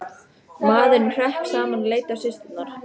Maðurinn hrökk saman og leit á systurnar.